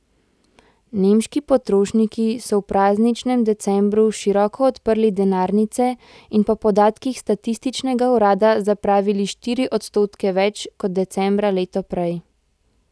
Nemški potrošniki so v prazničnem decembru široko odprli denarnice in po podatkih statističnega urada zapravili štiri odstotke več kot decembra leto prej.